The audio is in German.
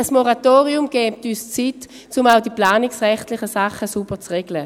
Ein Moratorium würde uns Zeit geben, um auch die planungsrechtlichen Sachen sauber zu regeln.